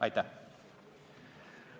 Aitäh!